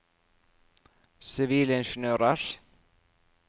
sivilingeniørers